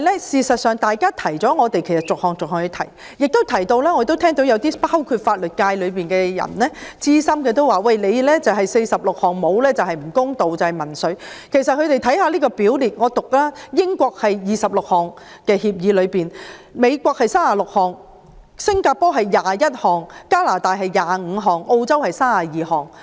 事實上，我們是逐項罪類提出的，有些法律界的資深人士亦認為不訂定46項罪類就是不公道，就是民粹，但其實各協定的表列罪類數目不一，英國是26項；美國是36項；新加坡是21項；加拿大是25項；澳洲是32項。